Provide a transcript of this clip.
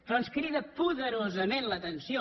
però ens crida poderosament l’atenció